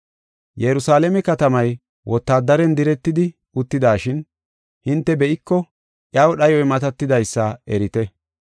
“Yerusalaame katamay wotaadaren diretidi uttidashin hinte be7iko iyaw dhayoy matatidaysa erite.